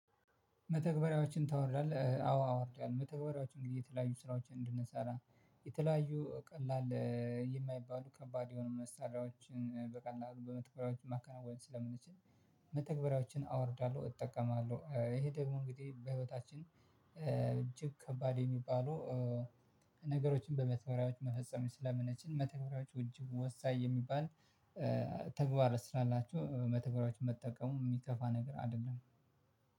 መተግበሪያዎችን ታወርዳለህ? አዎ አወርዳለሁ መተግበሪያዎችን እንግዲህ የተለያዩ ስራዎችን እንድንሰራ የተለያዩ ቀላል የማይባሉ ከባድ የሆኑ መሳሪያዎችን በቀላሉ በመተግበሪያዎች ማከናወን ስለምንችል መተግበሪያዎችን አወርዳለሁ። እጠቀማለሁ ይሄ ደግሞ እንግዲህ በህይወታችን እጅግ ከባድ የሚባሉ ነገሮችን በመተኮሪያዎች መፈጸም ስለምነችል መተኮሪያዎቹ እጅግ ወሳኝ የሚባል ተግባር ስላላቸው መተግበሪዎች መጠቀሙ የሚከፋ ነገር አይደለም